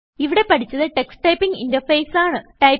ഇവിടെ പഠിച്ചത് Tux typing interface ആണ്